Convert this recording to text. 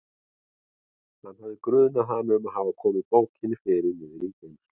Hann hafði grunað hana um að hafa komið bókinni fyrir niðri í geymslu.